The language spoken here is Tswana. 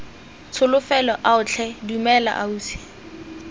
tsholofelo ao tlhe dumela ausi